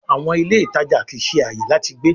àwọn ilé ìtàjà kìí ṣe ààyè láti gbé.